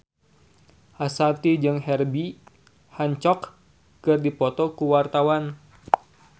Ashanti jeung Herbie Hancock keur dipoto ku wartawan